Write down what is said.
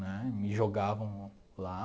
Né, me jogavam lá.